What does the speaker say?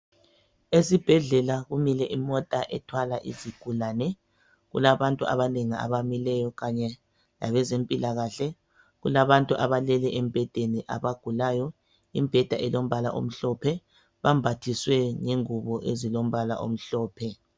esibhedlela kumile imota ethwala izigulane kulabantu abanengi abamileyo kanye labeze mpilakahle kulabantu abalele emibheda abagulayo imibheda elombala omhlophe bambathiswe ngengubo ezilombala omhlophe.